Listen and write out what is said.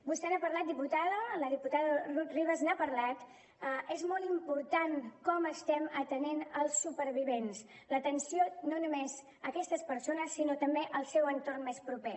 vostè n’ha parlat diputada la diputada rut ribas n’ha parlat és molt important com estem atenent els supervivents l’atenció no només a aquestes persones sinó també al seu entorn més proper